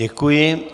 Děkuji.